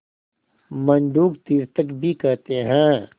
मंडूक तीर्थक भी कहते हैं